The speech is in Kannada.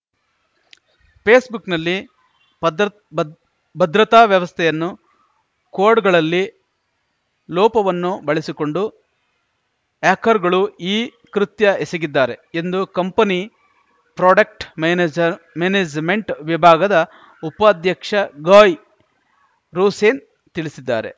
ಫೇಸ್‌ಬುಕ್‌ನಲ್ಲಿ ಭದ್ರತ್ ಭದ್ರ್ ಭದ್ರತಾ ವ್ಯವಸ್ಥೆಯನ್ನು ಕೋಡ್‌ಗಳಲ್ಲಿ ಲೋಪವನ್ನು ಬಳಸಿಕೊಂಡು ಹ್ಯಾಕರ್‌ಗಳು ಈ ಕೃತ್ಯ ಎಸಗಿದ್ದಾರೆ ಎಂದು ಕಂಪನಿ ಪ್ರಾಡಕ್ಟ್ ಮ್ಯಾನೇಜ್‌ ಮ್ಯಾನೇಜ್‌ಮೆಂಟ್‌ ವಿಭಾಗದ ಉಪಾಧ್ಯಕ್ಷ ಗಯ್‌ ರೋಸೆನ್‌ ತಿಳಿಸಿದ್ದಾರೆ